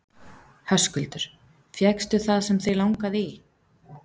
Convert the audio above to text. Höskuldur: Fékkstu það sem þig langaði í?